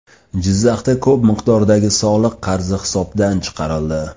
Jizzaxda ko‘p miqdordagi soliq qarzi hisobdan chiqarildi.